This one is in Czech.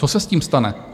Co se s tím stane?